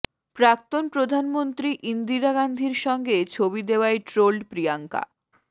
প্রাক্তন প্রধানমন্ত্রী ইন্দিরা গান্ধীর সঙ্গে ছবি দেওয়ায় ট্রোলড প্রিয়াঙ্কা